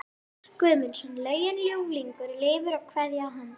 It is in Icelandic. Guðmundsson lögin Ljúflingur lifir og Kveðja að handan